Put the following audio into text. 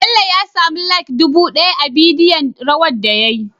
Bello ya samu like dubu daya a bidiyo rawar da yayi